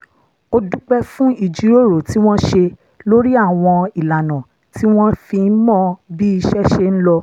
ó dúpẹ́ fún ìjíròrò tí wọ́n ṣe lórí àwọn ìlànà tí wọ́n fi ń mọ bí iṣẹ́ ṣe ń lọ